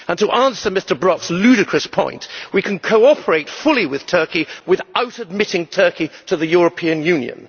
And, to answer Mr Brok's ludicrous point, we can cooperate fully with Turkey without admitting Turkey to the European Union.